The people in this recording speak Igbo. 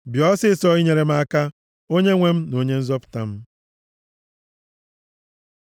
Bịa ọsịịsọ inyere m aka Onyenwe m na Onye nzọpụta m.